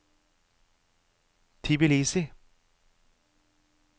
Tbilisi